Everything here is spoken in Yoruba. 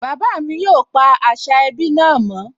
Bàbá mi yóò pa àṣà ẹbí náà mọ́